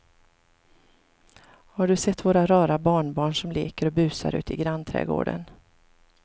Har du sett våra rara barnbarn som leker och busar ute i grannträdgården!